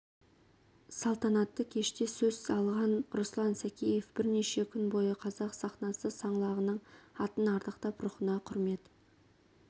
салтанатты кеште сөз алған руслан сәкеев бірнеше күн бойы қазақ сахнасы саңлағының атын ардақтап рухына құрмет